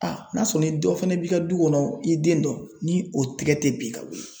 n'a sɔrɔ ni dɔ fana b'i ka du kɔnɔ i den dɔ ni o tigɛ tɛ bin ka wuli.